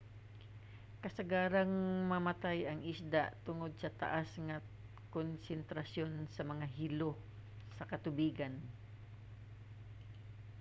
kasagarang mamatay ang isda tungod sa taas nga konsentrasyon sa mga hilo sa katubigan